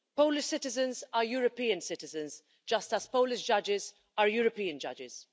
Polish citizens are European citizens, just as Polish judges are European judges.